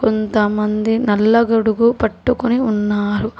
కొంతమంది నల్ల గొడుగు పట్టుకొని ఉన్నారు.